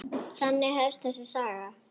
Þannig hefst þessi saga.